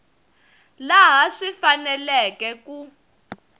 laha swi faneleke hi ku